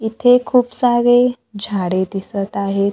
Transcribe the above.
इथे खूप सारे झाडे दिसत आहेत.